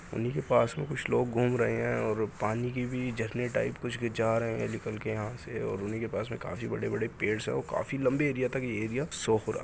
उन्ही के पास मे कुछ लोग घूम रहे हैं और पानी की भी झरने टाइप कुछ जा रहे हैं निकल के यहां से और उन्ही के पास में काफी बड़े-बड़े पेड़स हैं और काफी लंबे एरिया तक ये एरिया सोफ हो रहा है।